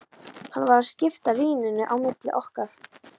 Hann var að skipta víninu á milli okkar!